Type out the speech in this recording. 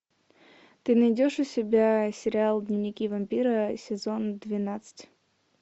ты найдешь у себя сериал дневники вампира сезон двенадцать